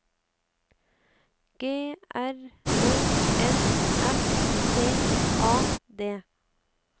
G R Ø N S T A D